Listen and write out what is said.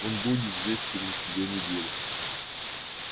он будет здесь через две недели